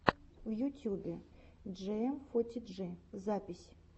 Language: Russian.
в ютюбе джиэмфотиджи запись